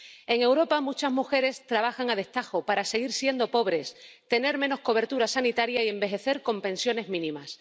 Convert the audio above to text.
En Europa muchas mujeres trabajan a destajo para seguir siendo pobres, tener menos cobertura sanitaria y envejecer con pensiones mínimas.